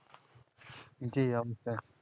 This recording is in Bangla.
জি অমতে